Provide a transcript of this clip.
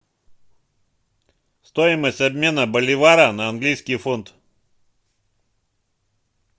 стоимость обмена боливара на английский фунт